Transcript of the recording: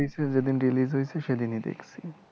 picture যেইদিন release হয়েছে সেইদিনই দেখছি